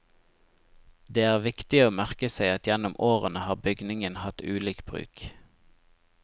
Det er viktig å merke seg at gjennom årene har bygningen hatt ulik bruk.